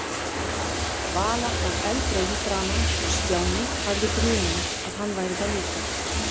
Vala var eldrauð í framan og Stjáni hafði grun um að hann væri það líka.